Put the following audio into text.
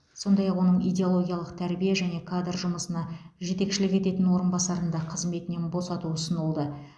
сондай ақ оның идеологиялық тәрбие және кадр жұмысына жетекшілік ететін орынбасарын да қызметінен босату ұсынылды